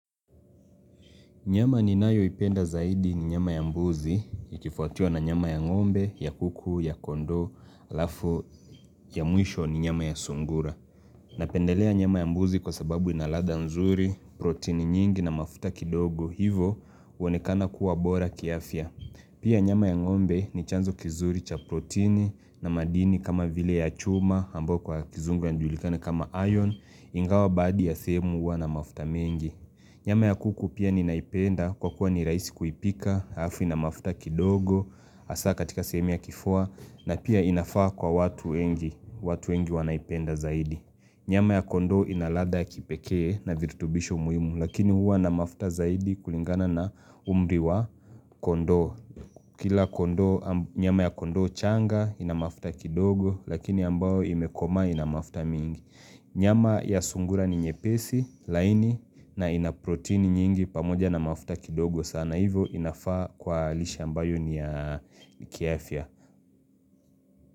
Nyama ninayoipenda zaidi ni nyama ya mbuzi, ikifuatiwa na nyama ya ngombe, ya kuku, ya kondoo, halafu, ya mwisho ni nyama ya sungura. Napendelea nyama ya mbuzi kwa sababu inaladha nzuri, protini nyingi na mafuta kidogo hivyo, huonekana kuwa bora kiafya. Pia nyama ya ngombe ni chanzo kizuri cha protini na madini kama vile ya chuma, ambayo kwa kizungu yajulikana kama iron, ingawa badhi ya sehemu huwa na mafuta mengi. Nyama ya kuku pia ninaipenda kwa kuwa ni rahisi kuipika, halafu ina mafuta kidogo, hasa katika sehemu ya kifua na pia inafaa kwa watu wengi, watu wengi wanaipenda zaidi. Nyama ya kondoo inaladha ya kipekee na virutubisho muhimu lakini huwa na mafuta zaidi kulingana na umri wa kondoo. Kila kondoo nyama ya kondo changa inamafuta kidogo lakini ambao imekoma inamafuta mingi. Nyama ya sungura ni nyepesi, laini na ina proteini nyingi pamoja na mafuta kidogo sana hivyo inafaa kwalishe ambayo ni ya kiafya.